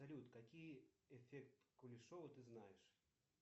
салют какие эффект кулешова ты знаешь